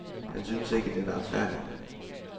Han synes ikke, den er retfærdig.